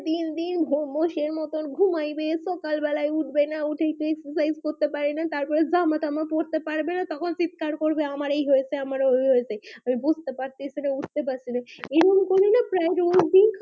দিন দিন ঘগস এর মতো ঘুমাইবে সকাল বালাই উঠবে না উঠে exercises করবে পারে না তার পর জামা টামা পড়তে পারবেনা তখন চিৎকার করবে আমার এই হয়েছে আমার ওই হয়েছে আমি বুজতে পারতেছে না উঠতে পারছেনা এইরকম করলে না প্রায়